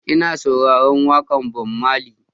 Ina sauraron waƙar Bob Marley.